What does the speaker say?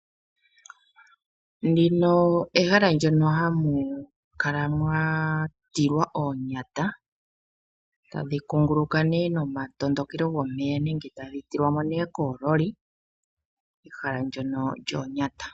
Ndino ohala ndyono hamu kala mwa tilwa oonyata tadhi kunguluka ihe nomatondokelo gomeya nenge tadhi tilwa mo ihe koololi. Ehala ndyono lyoonyata.